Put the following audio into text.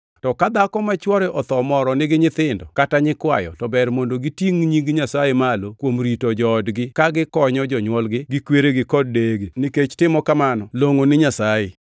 To ka dhako ma chwore otho moro nigi nyithindo kata nyikwayo to ber mondo gitingʼ nying Nyasaye malo kuom rito joodgi ka gikonyo jonywolgi gi kweregi kod deyegi, nikech timo kamano longʼo ni Nyasaye.